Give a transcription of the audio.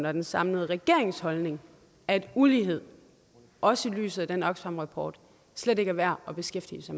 og den samlede regerings holdning at ulighed også i lyset af den oxfam rapport slet ikke er værd at beskæftige